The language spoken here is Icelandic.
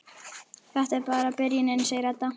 Þetta er bara byrjunin, segir Edda.